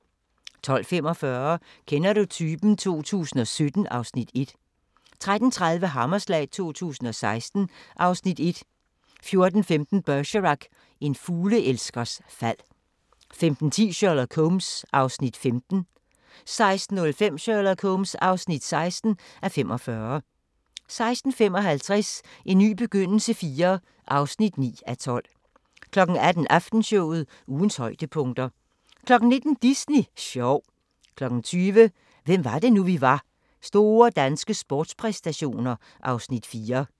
12:45: Kender du typen? 2017 (Afs. 1) 13:30: Hammerslag 2016 (Afs. 1) 14:15: Bergerac: En fugleelskers fald 15:10: Sherlock Holmes (15:45) 16:05: Sherlock Holmes (16:45) 16:55: En ny begyndelse IV (9:12) 18:00: Aftenshowet – ugens højdepunkter 19:00: Disney sjov 20:00: Hvem var det nu vi var: Store danske sportspræstationer (Afs. 4) 21:00: TV-avisen